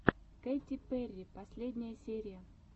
кэти перри последняя серия